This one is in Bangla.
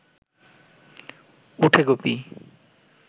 উঠে গুপি